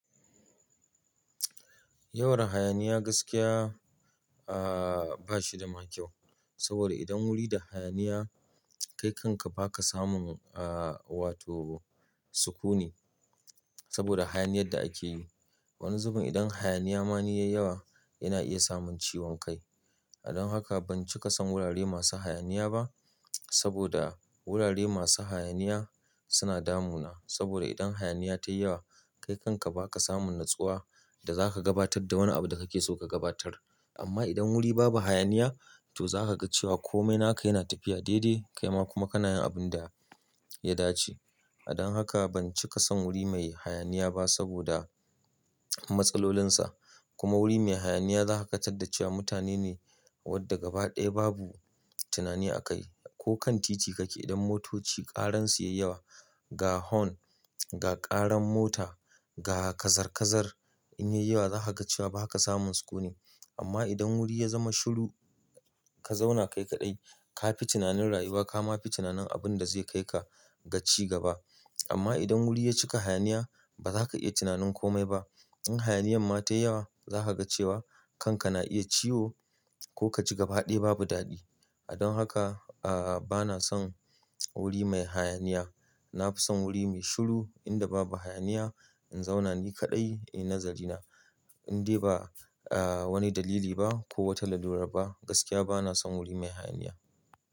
Yawar hayaniya gaskiya, ah, ba shi da ma kyau. Saboda idan wuri da hayaniya, kai kanka ba ka samun, ah, wato sukuni saboda hayaniyar da ake yi. Wani zubin idan hayaniya ma ni yayi yawa yana iya sa mun ciwon kai. Don haka ban cika son wurare masu hayaniya ba saboda wurare masu hayaniya suna damuna. Saboda idan hayaniya tayi yawa kai kanka ba ka samun natsuwa da za ka gabatar da wani abu da kake so ka gabatar. Amma idan wuri babu hayaniya toh za ka ga cewa komai naka yana tafiya daidai kaima kuma kana yin abin da ya dace. Don haka ban cika son wuri mai hayaniya ba saboda matsalolinsa. Kuma wuri mai hayaniya za ka tarda cewa mutane ne wadda gaba ɗaya babu tunani a kai. Ko kan titi kake idan motoci ƙaransu yayi yawa, ga hon, ga ƙaran mota, ga kazar-kazar in yayi yawa za ka ga cewa ba ka samun sukuni. Amma idan wuri ya zama shiru ka zauna kai kaɗai, ka fi tunanin rayuwa ka ma fi tunanin abin da zai kai ka ga cigaba. Amma idan wuri ya cika hayaniya ba za ka iya tunanin komai ba. In hayaniyan ma tayi yawa za ka ga cewa kanka na iya ciwo ko ka ci gaba ɗaya babu daɗi. Don haka, ah, bana son wuri mai hayaniya. Na fi son wuri mai shiru inda babu hayaniya in zauna ni kaɗai. Eh, nazari na. In dai ba, ah, wani dalili ba ko wata lalurar ba gaskiya bana son wuri mai hayaniya.